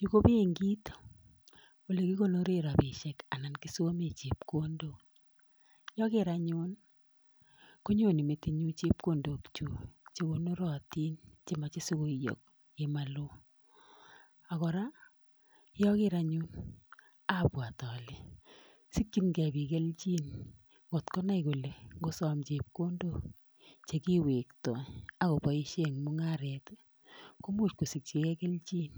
Yu ko benkit olekikonooren rabisiek anan kisomeen chepkondook. Yo kogeer anyun konyone metinyun chepkondook chekonorotin chemoche sikoiyoo komoloo, ako kora. yeoker anyun abwat ale sikyiingei biik kelchin kot konai kole ingosom chepkondok che kiwektoi ak koboishien en mung'aret komuch kosikchigei kelchin